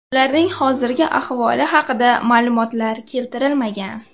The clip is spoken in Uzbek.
Ularning hozirgi ahvoli haqida ma’lumotlar keltirilmagan.